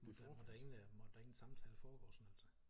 Måtte der ingen samtale foregå sådan altså?